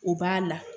O b'a la